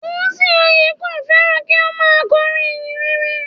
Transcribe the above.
Dùnsìn Oyèkán féràn kí ó má a korin ìhìnrere